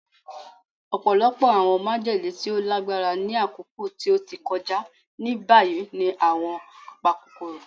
Ọpọlọpọ awọn majele ti o lagbara ni akoko ti o ti kọja ni bayi ni awọn apakokoro